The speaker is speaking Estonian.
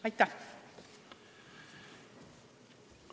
Aitäh!